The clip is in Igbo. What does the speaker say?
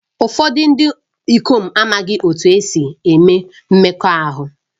Ụfọdụ ndị ikom amaghị otú e si eme mmekọahụ